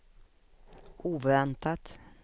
oväntat